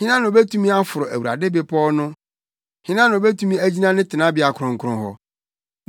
Hena na obetumi aforo Awurade bepɔw no? Hena na obetumi agyina ne tenabea kronkron hɔ?